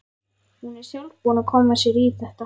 Hún er sjálf búin að koma sér í þetta.